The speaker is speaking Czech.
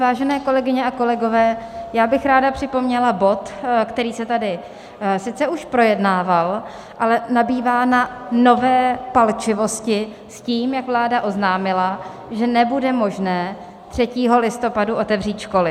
Vážené kolegyně a kolegové, já bych ráda připomněla bod, který se tady sice už projednával, ale nabývá na nové palčivosti s tím, jak vláda oznámila, že nebude možné 3. listopadu otevřít školy.